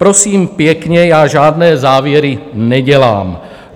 Prosím pěkně, já žádné závěry nedělám.